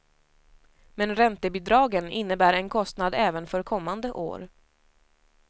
Men räntebidragen innebär en kostnad även för kommande år.